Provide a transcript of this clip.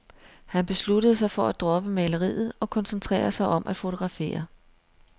Han besluttede sig for at droppe maleriet og koncentrere sig om at fotografere.